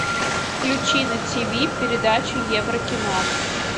включи на ти ви передачу еврокино